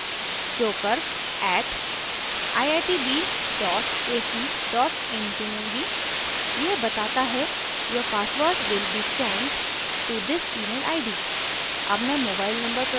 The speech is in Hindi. email id में मैं joker @iitb ac in चुनूँगी यह बताता है your password will be sent to this email id